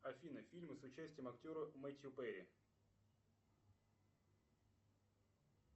афина фильмы с участием актера мэтью перри